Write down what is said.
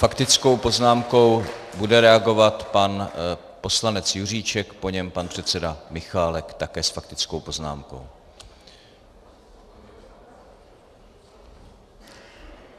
Faktickou poznámkou bude reagovat pan poslanec Juříček, po něm pan předseda Michálek, také s faktickou poznámkou.